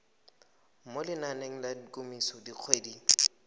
mo lenaneng la kemiso dikgwedi